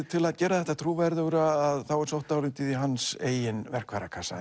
til að gera þetta trúverðugra þá er sótt dálítið í hans eigin verkfærakassa